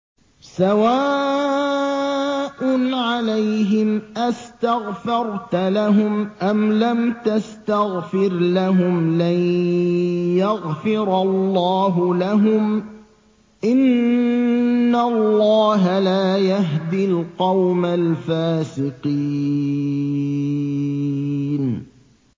سَوَاءٌ عَلَيْهِمْ أَسْتَغْفَرْتَ لَهُمْ أَمْ لَمْ تَسْتَغْفِرْ لَهُمْ لَن يَغْفِرَ اللَّهُ لَهُمْ ۚ إِنَّ اللَّهَ لَا يَهْدِي الْقَوْمَ الْفَاسِقِينَ